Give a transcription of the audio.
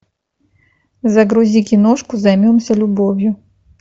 загрузи киношку займемся любовью